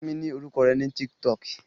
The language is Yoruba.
Fún mi ní orúkọ rẹ ní TikTok